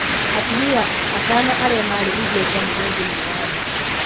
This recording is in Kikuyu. Atumia atano arĩa marĩ igweta mũno thĩinĩ wa thĩ